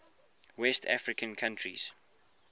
west african countries